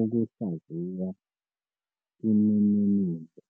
Ukuhlaziya Imininingo